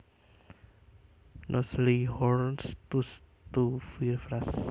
Nous le jurons tous tu vivras